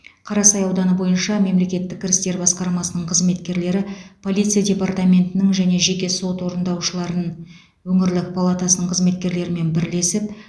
қарасай ауданы бойынша мемлекеттік кірістер басқармасының қызметкерлері полиция департаментінің және жеке сот орындаушыларының өңірлік палатасының қызметкерлерімен бірлесіп